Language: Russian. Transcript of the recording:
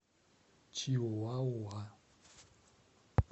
чиуауа